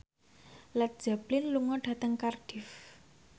Led Zeppelin lunga dhateng Cardiff